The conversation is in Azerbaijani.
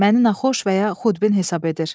Məni naxoş və ya xudbin hesab edir.